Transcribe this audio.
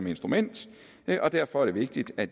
instrument og derfor er det vigtigt at